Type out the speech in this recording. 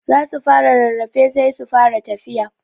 Za su fara rarrafe sai su fara tafiya.